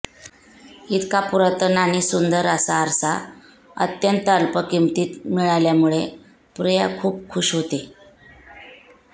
इतका पुरातन आणि सुंदर असा आरसा अत्यंत अल्प किंमतीत मिळाल्यामुळे प्रिया खुप खुश होते